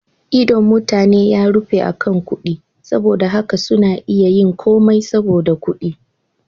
Idon mutane ya rufe akan kuɗi, saboda haka suna iya yin komai saboda kuɗi.